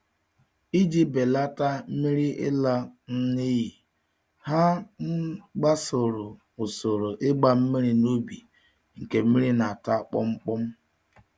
Iji belata mmiri ịla um n'iyi, ha um gbasoro usoro ịgba mmiri n'ubi nke mmiri na-ata kpọm-kpọm